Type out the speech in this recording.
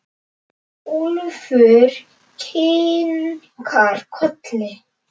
Úlfur kinkar kolli.